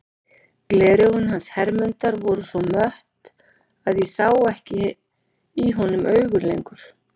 Gleraugun hans Hermundar voru svo mött að ég sá ekki í honum augun lengur.